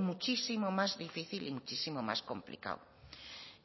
muchísimo más difícil y muchísimo más complicado